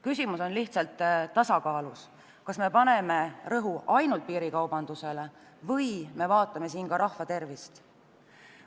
Küsimus on lihtsalt tasakaalus: kas me paneme rõhu ainult piirikaubanduse tõkestamisele või peame silmas ka rahva tervist.